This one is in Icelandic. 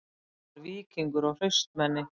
Hann var víkingur og hraustmenni